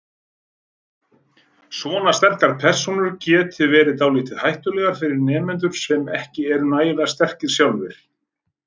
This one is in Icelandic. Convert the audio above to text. Svona sterkar persónur geti verið dálítið hættulegar fyrir nemendur sem ekki eru nægilega sterkir sjálfir.